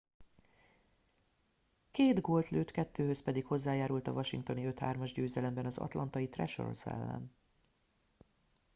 két gólt lőtt kettőhöz pedig hozzájárult a washingtoni 5-3-as győzelemben az atlantai thrashers ellen